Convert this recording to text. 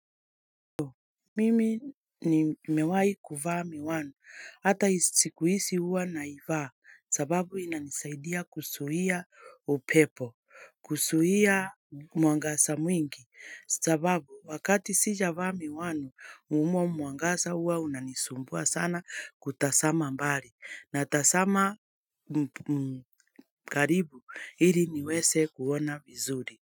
Mimi nimewahi kuvaa miwani, hata siku hizi huwa naivaa, sababu inanisaidia kuzuia upepo kuzuia muangasa mwingi, sababu wakati sijavaa miwani, umwa muangasa uwa unanisumbua sana kutasama mbali, natasama mgaribu hili niweze kuona vizuri.